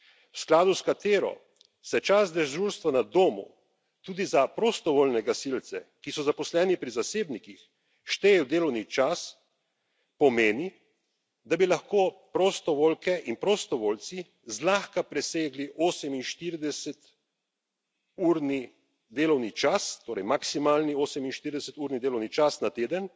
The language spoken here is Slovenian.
v skladu s katero se čas dežurstva na domu tudi za prostovoljne gasilce, ki so zaposleni pri zasebnikih, šteje v delovni čas, pomeni, da bi lahko prostovoljke in prostovoljci zlahka presegli 48 urni delovni čas, torej maksimalni 48 urni delovni čas na teden,